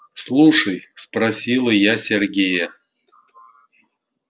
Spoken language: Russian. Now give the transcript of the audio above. слушай спросила я сергея